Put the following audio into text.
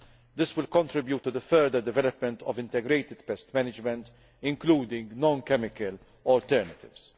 This will contribute to the further development of integrated pest management, including non chemical alternatives.